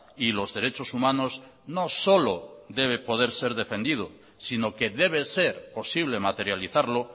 y los derechos humanos no solo debe poder ser defendido sino que debe ser posible materializarlo